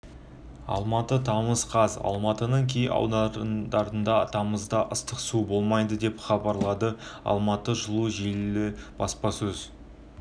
алматы тамыз қаз алматының кей аудандарында тамызда ыстық су болмайды деп хабарлады алматы жылу желілері баспасөз